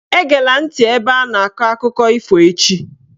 Eghela ntị ebe a na-akọ akụkọ ifo echi "!